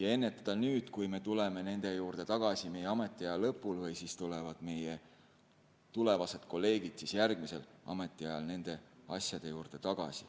ja ennetada nüüd, mitte et me tuleme nende juurde tagasi meie ametiaja lõpul või siis tulevad meie tulevased kolleegid järgmisel ametiajal nende asjade juurde tagasi.